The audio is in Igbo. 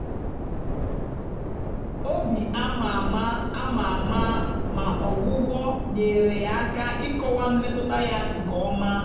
obi ama ama ama ama ma ọgwụgwọ nyeere ya aka ịkọwa mmetụta ya nke ọma.